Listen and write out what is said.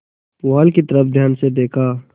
पुआल की तरफ ध्यान से देखा